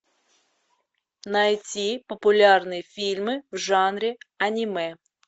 найти популярные фильмы в жанре аниме